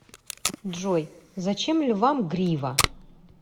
джой зачем львам грива